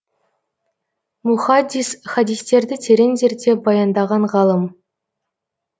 мухаддис хадистерді терең зерттеп баяндаған ғалым